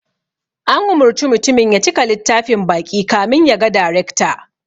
An umurci mutumin ya cika littafin baƙi kamin ya ga darekta